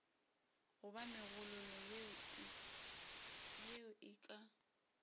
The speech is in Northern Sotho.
goba megololo yeo e ka